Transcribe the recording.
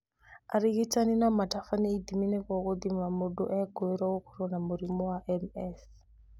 Arigitani no matabanie ithimi nĩguo gũthima mũndũ ũrekũĩrwo gũkorwo na mũrimũ wa MS